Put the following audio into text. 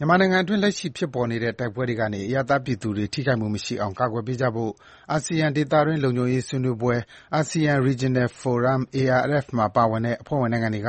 မြန်မာနိုင်ငံအတွင်း လက်ရှိဖြစ်ပေါ်နေတဲ့ တိုက်ပွဲတွေကနေ အရပ်သားပြည်သူတွေ ထိခိုက်မှုမရှိအောင် ကာကွယ်ပေးကြဖို့ အာဆီယံ ဒေသတွင်း လုံခြုံရေးဆွေးနွေးပွဲ (Asean Regional Forum-ARF) မှာပါဝင်တဲ့ အဖွဲ့ဝင်နိုင်ငံတွေက